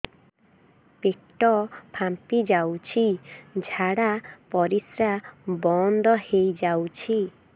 ପେଟ ଫାମ୍ପି ଯାଉଛି ଝାଡା ପରିଶ୍ରା ବନ୍ଦ ହେଇ ଯାଉଛି